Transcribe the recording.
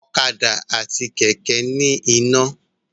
Ọ̀kadà àti Kẹ̀kẹ́ ní iná